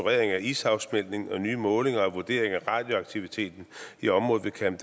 af is afsmeltningen og nye målinger og vurderinger af radioaktiviteten i området ved camp